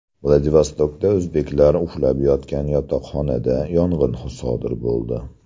Vladivostokda o‘zbeklar uxlab yotgan yotoqxonada yong‘in sodir bo‘ldi .